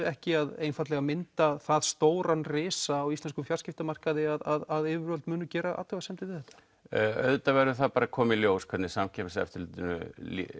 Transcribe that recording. ekki að mynda það stóran risa í fjarskiptamarkaði að yfirvöld munu gera athugasemd við þetta auðvitað verður að koma í ljós hvernig Samkeppniseftirlitinu